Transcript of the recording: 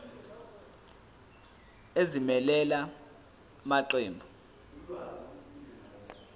ezimelele la maqembu